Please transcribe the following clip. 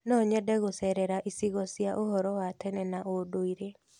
No nyende gũcerera icigo cia ũhoro wa tene na ũndũire.